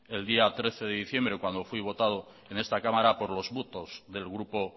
el día trece de diciembre cuando fui votado en esta cámara por los votos del grupo